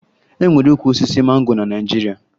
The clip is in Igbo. E nwere ukwu osisi mango na Naịjirịa